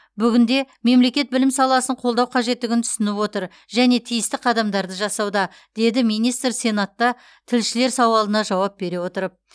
бүгінде мемлекет білім саласын қолдау қажеттігін түсініп отыр және тиісті қадамдарды жасауда деді министр сенатта тілшілер сауалына жауап бере отырып